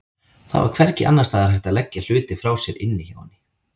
Það var hvergi annars staðar hægt að leggja hluti frá sér inni hjá henni.